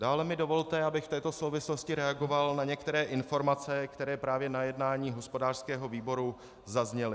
Dále mi dovolte, abych v této souvislosti reagoval na některé informace, které právě na jednání hospodářského výboru zazněly.